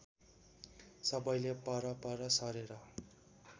सबैले परपर सरेर